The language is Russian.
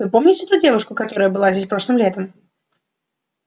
вы помните ту девушку которая была здесь прошлым летом